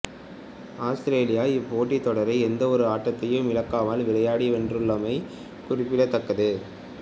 Australia இப்போட்டித்தொடரை எந்த ஒரு ஆட்டத்தையும் இழக்காமல் விளையாடி வென்றுள்ளமை குறிப்பிடத்தக்கது